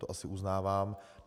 To asi uznávám.